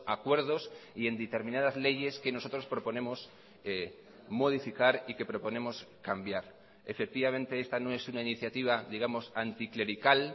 acuerdos y en determinadas leyes que nosotros proponemos modificar y que proponemos cambiar efectivamente esta no es una iniciativa digamos anticlerical